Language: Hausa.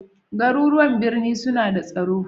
Garuruwan birni suna da tsaro